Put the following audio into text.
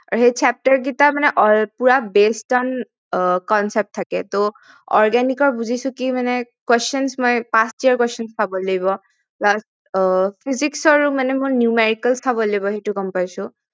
আৰু সেই Chapter কেইটা মানে পুৰা based on concept থাকে organic ৰ বুজিছো কি মই questions মই first year questions চাব লাগিব plus physics ৰ ও মই numerical চাব লাগিব সেইটো গম পাইছো